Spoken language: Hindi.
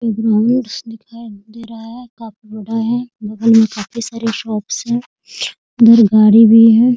एक ग्राउंड्स दिखाई दे रहा है काफी बड़ा है बगल में काफी सारे शॉप्स है उधर गाड़ी भी है।